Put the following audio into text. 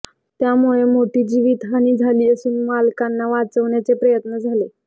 त्यामुळे मोठी जीवितहानी झाली असून मालकांना वाचवण्याचे प्रयत्न झाले